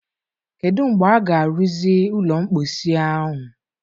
Kedu mgbe a ga-arụzi ụlọ mposi ahụ?